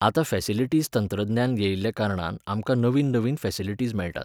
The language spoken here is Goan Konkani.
आतां फॅसिलिटीज तंत्रज्ञान येयल्ल्या कारणान आमकां नवीन नवीन फॅसिलिटीज मेळटात.